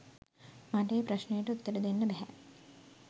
මට ඒ ප්‍රශ්නයට උත්තර දෙන්න බැහැ.